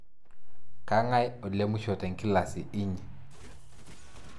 Kang'ae olemusho te inkilasi inyi?